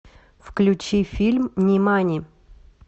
включи фильм нимани